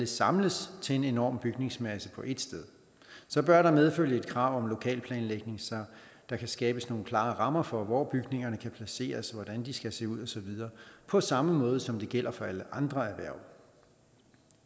samles til en enorm bygningsmasse på ét sted så bør der medfølge et krav om lokalplanlægning så der kan skabes nogle klare rammer for hvor bygningerne kan placeres hvordan de skal se ud osv på samme måde som det gælder for alle andre erhverv